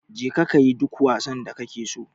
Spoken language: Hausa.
Je ka kayi duk wasan da kake so